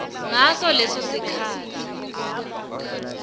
ngaso leso sikhatsi